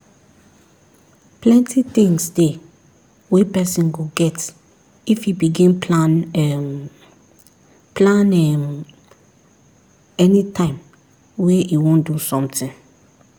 plenty things dey wey person go get if e begin plan um plan um anytime wey e wan do something